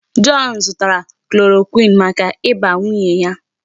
John zụtara chloroquine maka ịba nwunye ya.